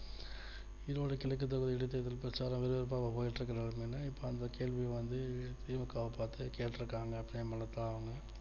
ஈரோடு கிழக்கு தொகுதில் இடைத்தேர்தல் பிரச்சாரம் விறுவிறுப்பா போயிட்டு இருக்கு நேரத்தில் வந்து இப்போ அந்தக் கேள்வி வந்து தி மு க வை பார்த்து கேட்டிருக்காங்க பிரேமலதா அவங்க